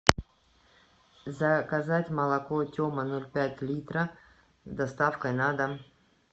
заказать молоко тема ноль пять литра с доставкой на дом